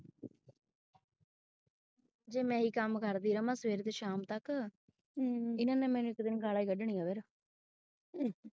ਜੇ ਮੈਂ ਆ ਹੀ ਕੰਮ ਕਰਦੀ ਰਹਾ ਸਵੇਰ ਤੋਂ ਸ਼ਾਮ ਤੱਕ ਇਹਨਾ ਨੇ ਮੈਨੂੰ ਇੱਕ ਦਿਨ ਗਾਲ਼ਾ ਹੀ ਕੱਢਣੀਆ ਫਿਰ।